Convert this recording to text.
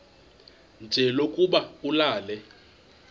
nje lokuba ulale